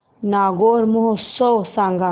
नागौर महोत्सव सांग